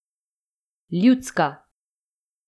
Ljudska!